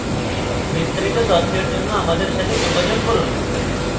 বিস্তারিত তথ্যের জন্য আমাদের সাথে যোগাযোগ করুন